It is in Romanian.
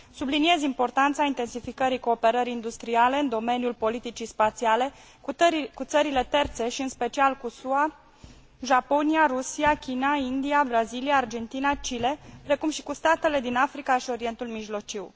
Subliniez importanța intensificării cooperării industriale în domeniul politicii spațiale, cu țările terțe și în special cu SUA, Japonia, Rusia, China, India, Brazilia, Argentina, Chile, precum și cu statele din Africa și Orientul Mijlociu.